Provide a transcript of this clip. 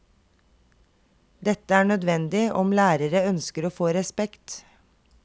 Dette er nødvendig om lærere ønsker å få respekt.